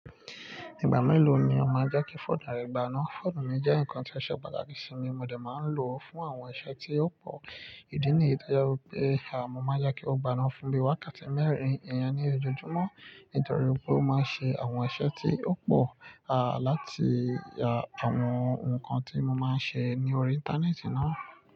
Ìgbà mélòó ni ó máa ń jẹ́ kí fóònù rẹ gbaná? Fóònù mi jẹ́ ǹnkan tí o ṣe pàtàkì sí mi, mo dẹ̀ máa ń lò ó fún àwọn iṣẹ́ tí ó pò. Ìdí nìyẹn to je wípé mọ́ máa n jẹ́ kí ó gbaná fún bí i wákàtí mẹ́rin ìyẹn ní ojojúmọ́ nítorí wipé ó máa ń ṣe àwọn iṣẹ́ tí ó pò, láti àwọn ǹnkan tí mo máa ń ṣe ní orí Íńtánẹ́ẹ̀tì náà.